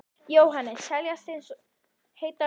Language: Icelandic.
Jóhannes: Seljast eins og heitar lummur?